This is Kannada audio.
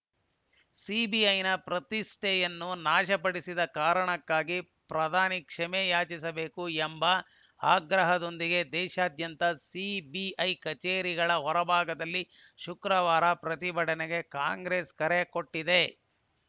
ಸಿಬಿಐನ ಪ್ರತಿಷ್ಠೆಯನ್ನು ನಾಶಪಡಿಸಿದ ಕಾರಣಕ್ಕಾಗಿ ಪ್ರಧಾನಿ ಕ್ಷಮೆ ಯಾಚಿಸಬೇಕು ಎಂಬ ಆಗ್ರಹದೊಂದಿಗೆ ದೇಶಾದ್ಯಂತ ಸಿಬಿಐ ಕಚೇರಿಗಳ ಹೊರಭಾಗದಲ್ಲಿ ಶುಕ್ರವಾರ ಪ್ರತಿಭಟನೆಗೆ ಕಾಂಗ್ರೆಸ್‌ ಕರೆ ಕೊಟ್ಟಿದೆ